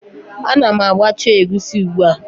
Ana m agbacha egusi ugbu a